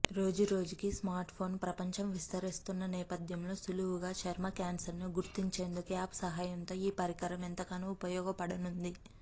రోజురోజుకీ స్మార్ట్ఫోన్ ప్రపంచం విస్తరిస్తున్న నేపథ్యంలో సులువుగా చర్మ క్యాన్సర్ను గుర్తించేందుకు యాప్ సహాయంతో ఈ పరికరం ఎంతగానో ఉపయోగపడనుంది